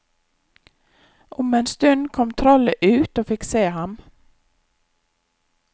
Om en stund kom trollet ut og fikk se ham.